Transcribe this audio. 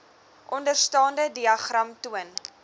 onderstaande diagram toon